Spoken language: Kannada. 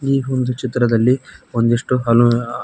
ಈ ಒಂದು ಚಿತ್ರದಲ್ಲಿ ಒಂದಿಷ್ಟು ಅನು ಆ.